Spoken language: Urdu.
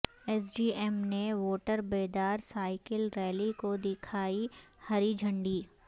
ایس ڈی ایم نے ووٹر بیداری سائیکل ریلی کو دیکھائی ہری جھنڈی